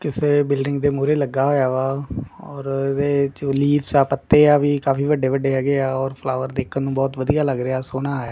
ਕਿਸੇ ਬਿਲਡਿੰਗ ਦੇ ਮੂਰੇ ਲੱਗਾ ਹੋਇਆ ਵਾ ਔਰ ਵੋ ਜੋ ਲੀਵਸ ਆ ਪੱਤੇ ਆ ਓਹ ਵੀ ਕਾਫੀ ਵੱਡੇ ਵੱਡੇ ਹੈਗੇ ਆਂ ਔਰ ਫਲਾਵਰ ਦੇਖਣ ਨੂੰ ਬਹੁਤ ਵਧੀਆ ਲੱਗ ਰਿਹਾ ਸੋਹਣਾ ਹੈ।